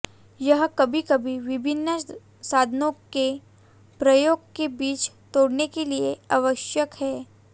यह कभी कभी विभिन्न साधनों के प्रयोग के बीच तोड़ने के लिए आवश्यक है